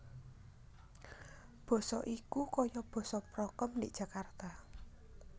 Boso iki koyo boso prokem ndik Jakarta